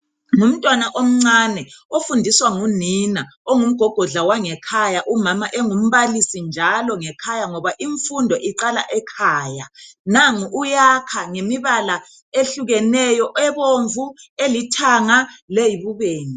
Ngumntwana omcane ofundiswa ngunina ongumgogodla wangekhaya umama engumbalisi njalo ngekhaya ngoba imfundo iqala ekhaya nangu uyakha ngemibala ehlukeneyo ebomvu elithanga leyibubende